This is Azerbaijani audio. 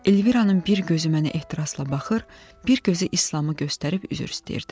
Elviranın bir gözü mənə ehtirasla baxır, bir gözü İslamı göstərib üzr istəyirdi.